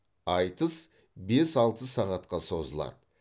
айтыс бес алты сағатқа созылады